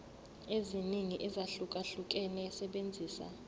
eziningi ezahlukahlukene esebenzisa